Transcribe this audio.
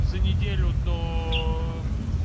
за неделю до